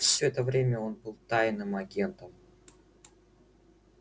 всё это время он был тайным агентом